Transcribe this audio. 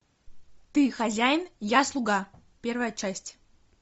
ты хозяин я слуга первая часть